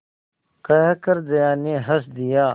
कहकर जया ने हँस दिया